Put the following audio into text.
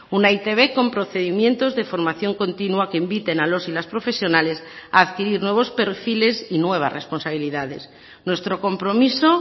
una e i te be con procedimientos de formación continua que inviten a los y las profesionales a adquirir nuevos perfiles y nuevas responsabilidades nuestro compromiso